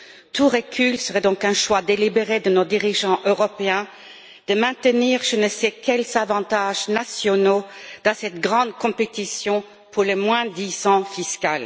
Tout recul serait donc un choix délibéré de nos dirigeants européens de maintenir je ne sais quels avantages nationaux dans cette grande compétition pour le moins disant fiscal.